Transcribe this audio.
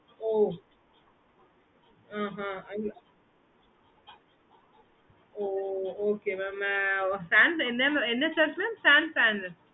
okay mam